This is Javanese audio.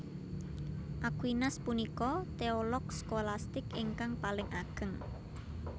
Aquinas punika teolog skolastik ingkang paling ageng